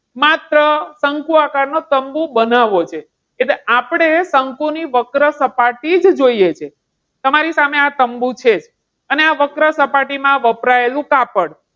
માત્ર શંકુ આકાર નો તંબુ બનાવો છે. એટલે આપણને શંકુ ની વક્ર સપાટી જ જોઈએ છે. તમારી સામે આ તંબુ છે અને આવક સપાટીમાં વપરાયેલું કાપડ.